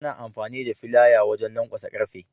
Ana amfani da filaya wajan lankwasa ƙarfe.